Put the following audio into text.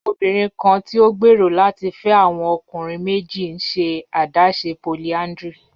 Obinrin kan ti o gbero lati fẹ awọn ọkunrin meji n ṣe adaṣe polyandry